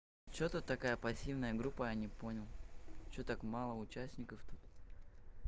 что ты такая пассивная группа я не понял что так мало участников тут